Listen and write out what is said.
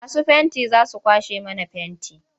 Masu fenti za su kwashe mana fenti.